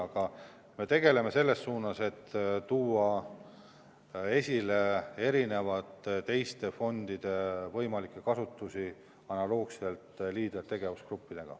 Aga me tegutseme selles suunas, et luua ka teiste fondide kasutamise võimalusi analoogselt Leaderi tegevusgruppidega.